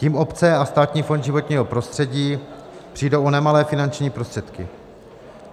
Tím obce a Státní fond životního prostředí přijdou o nemalé finanční prostředky.